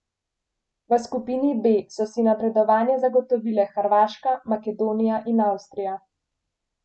V skupini B so si napredovanje zagotovile Hrvaška, Makedonija in Avstrija.